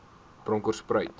bronkhortspruit